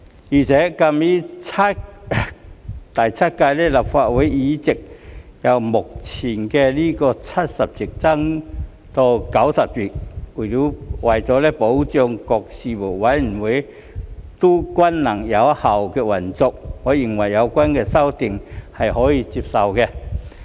而且鑒於第七屆立法會的議席將會由目前的70席增至90席，為了保障各事務委員會均能有效率地運作，我認為有關修訂是可以接受的。